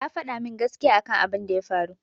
Ta faɗa min gaskiya akan abin da ya faru.